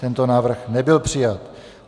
Tento návrh nebyl přijat.